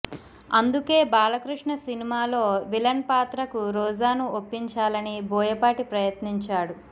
అందుకే బాలకృష్ణ సినిమాలో విలన్ పాత్రకు రోజాను ఒప్పించాలని బోయాపాటి ప్రయత్నించాడు